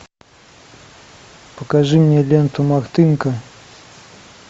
покажи мне ленту мартынка